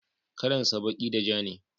kalan sa baki da ja ne